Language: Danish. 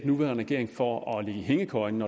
nuværende regering for at ligge i hængekøjen